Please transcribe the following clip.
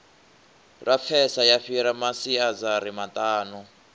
lapfesa ya fhira masiazari maṱanu